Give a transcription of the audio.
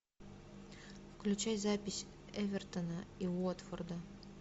включай запись эвертона и уотфорда